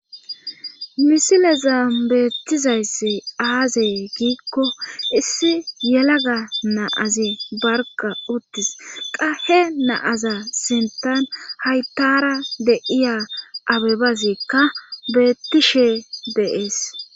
misile za beettizayssi aazey giikko issi yelaga naazi barga uttis qahe naaza sintan hayttara deiya abebazikka beettishe deees